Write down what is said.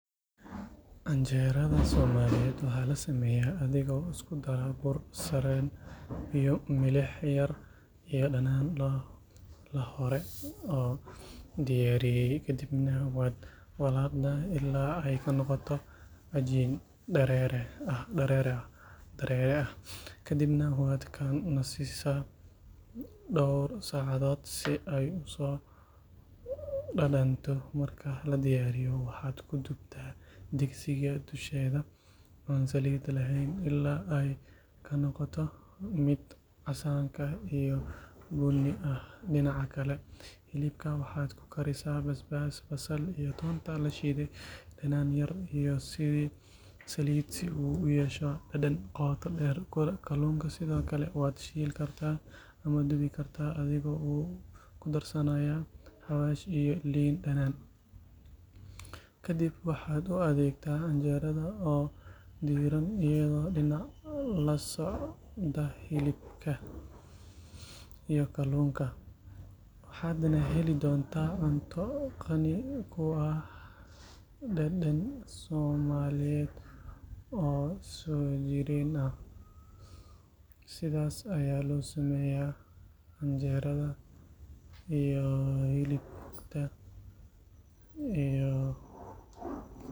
Canjeerada Soomaaliyeed waxa la sameeyaa adiga oo isku dara bur sarreen biyo milix yar iyo dhanaan la hore u diyaariyey kadibna waad walaaqdaa ilaa ay ka noqoto cajiin dareere ah kadibna waad ka nasisaa dhowr saacadood si ay u soo dhadhanto marka la diyaariyo waxaad ku dubtaa digsiga dusheeda aan saliid lahayn ilaa ay ka noqoto mid casaanka iyo bunni ah dhinaca kale hilibka waxaad ku karisaa basbaas basal iyo toonta la shiiday dhanaan yar iyo saliid si uu u yeesho dhadhan qoto dheer kalluunka sidoo kale waad shiili kartaa ama dubi kartaa adiga oo ku darsanaya xawaash iyo liin dhanaan kadib waxaad u adeegtaa canjeerada oo diiran iyadoo dhinac la socda hilibka iyo kalluunka waxaadna heli doontaa cunto qani ku ah dhadhan Soomaaliyeed oo soo jireen ah.